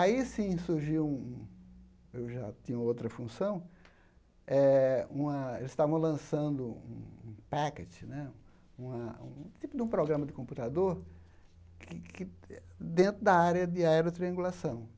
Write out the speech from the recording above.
Aí sim surgiu um um, eu já tinha outra função eh, eles estavam lançando um packet, uma um tipo de programa de computador que que dentro da área de aerotriangulação.